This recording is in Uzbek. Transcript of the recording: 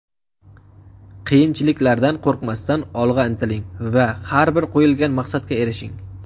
Qiyinchiliklardan qo‘rqmasdan olg‘a intiling va har bir qo‘yilgan maqsadga erishing.